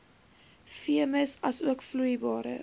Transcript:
veemis asook vloeibare